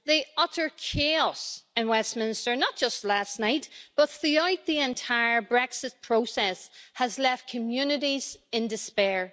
The utter chaos in Westminster not just last night, but throughout the entire Brexit process has left communities in despair.